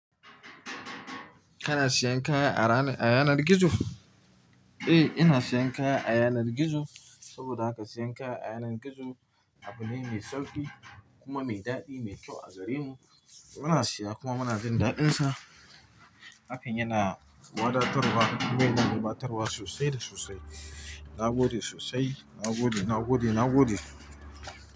Kana siyan kaya a ranar yanar gizo? Eh, ina siyan kaya a yanar gizo. Saboda haka siyan kaya a yanar gizo abu ne mai sauƙi kuma mai daɗi, mai kyau a garinmu. Muna siya kuma muna jin daɗinsa. Haka yana wadatarwa kuma yana rubatarwa sosai da sosai. Na gode sosai. Na gode, na gode, na gode.